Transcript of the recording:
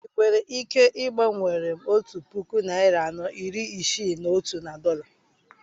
I nwere ike igbanwere m otu puku narị anọ iri Isii na otu na dọla?